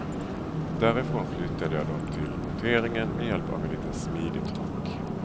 Därifrån flyttade jag dem till monteringen med hjälp av en liten smidig truck.